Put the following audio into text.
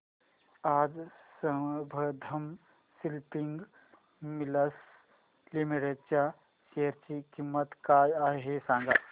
आज Sambandam spinning mills limited च्या share ची किंमत काय आहे हे सांगा